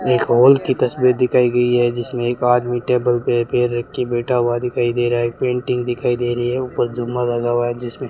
एक हॉल की तस्वीर दिखाई गई है जिसमें एक आदमी टेबल पे पैर रख के बैठा हुआ दिखाई दे रहा है एक पेंटिंग दिखाई दे रही है ऊपर जुम्मा लगा हुआ है जिसमें --